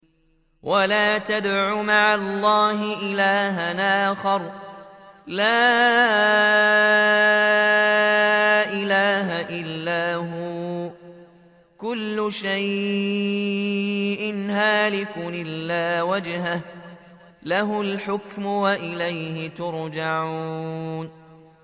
وَلَا تَدْعُ مَعَ اللَّهِ إِلَٰهًا آخَرَ ۘ لَا إِلَٰهَ إِلَّا هُوَ ۚ كُلُّ شَيْءٍ هَالِكٌ إِلَّا وَجْهَهُ ۚ لَهُ الْحُكْمُ وَإِلَيْهِ تُرْجَعُونَ